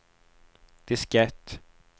diskett